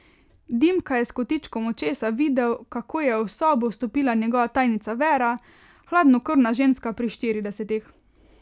Dimka je s kotičkom očesa videl, kako je v sobo vstopila njegova tajnica Vera, hladnokrvna ženska pri štiridesetih.